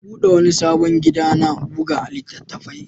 An buɗe wani sabon gida na buga littattafai.